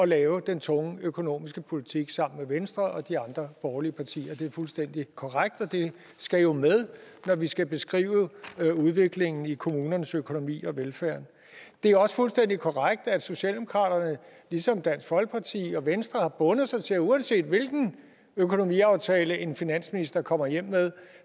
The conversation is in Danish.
lave den tunge økonomiske politik sammen med venstre og de andre borgerlige partier det er fuldstændig korrekt og det skal jo med når vi skal beskrive udviklingen i kommunernes økonomi og velfærden det er også fuldstændig korrekt at socialdemokratiet ligesom dansk folkeparti og venstre har bundet sig til at uanset hvilken økonomiaftale en finansminister kommer hjem med